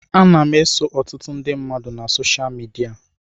Ana m eso ọtụtụ ndị mmadụ na soshal midia.